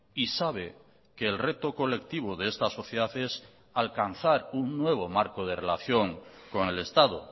y sabe que el reto colectivo de esta sociedad es alcanzar un nuevo marco de relación con el estado